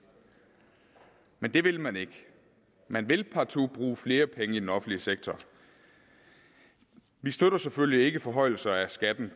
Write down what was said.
men det vil man ikke man vil partout bruge flere penge i den offentlige sektor vi støtter selvfølgelig ikke forhøjelser af skatten